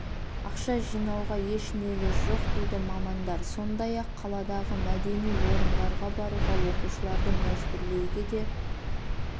ақша жинауға еш негіз жоқ дейді мамандар сондай-ақ қаладағы мәдени орындарға баруға оқушыларды мәжбүрлеуге де